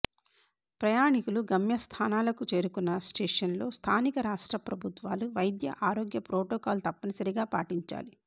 ప్రయాణికులు గమ్య స్థానాలకు చేరుకున్న స్టేషన్లో స్థానిక రాష్ట్ర ప్రభుత్వాలు వైద్య ఆరోగ్య ప్రోటోకాల్ తప్పనిసరిగా పాటించాలి